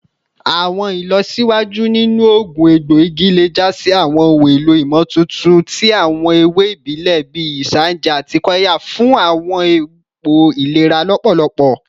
Awọn ilọsiwaju ninu oogun egboigi le ja si awọn ohun elo imotuntun ti awọn ewe ibile bii isanje ati qirya fun awọn ipo ilera lọpọlọpọ